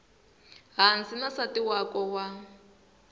hansi na nsati wakwe wa